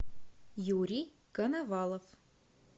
юрий коновалов